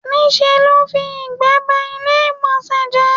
Ní ṣe ló fi ìgbẹ́ ba ilé ìgbọ̀nsẹ̀ jẹ́.